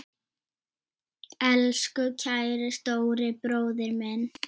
Elsku kæri stóri bróðir minn.